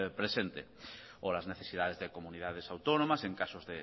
presente o las necesidades de comunidades autónomas en casos